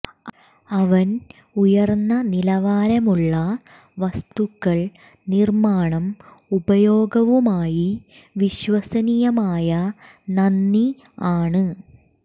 അവൻ ഉയർന്ന നിലവാരമുള്ള വസ്തുക്കൾ നിർമ്മാണം ഉപയോഗവുമായി വിശ്വസനീയമായ നന്ദി ആണ്